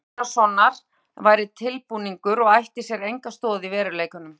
Geir finns Einarssonar væri tilbúningur og ætti sér enga stoð í veruleikanum.